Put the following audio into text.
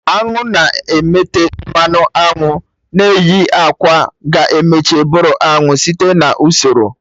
Añụ na-emete mmanụ aṅụ na-eyi akwa ga emecha bụrụ anụ site na usoro